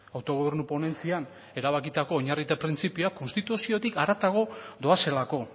autogobernu ponentzian erabakitako oinarri eta printzipioak konstituziotik haratago doazelako